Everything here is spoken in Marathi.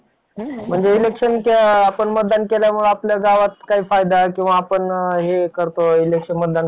खूप experience म्हणजे त्याने माझी देवावर खूप श्रद्धा आहे देवा कोणतंही काम करत असताना जर मी देवाचं नाव घेत असेल तर मला माझं काम ते चांगलच होतं. आणि